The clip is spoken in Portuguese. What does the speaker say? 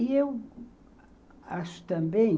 E eu acho também...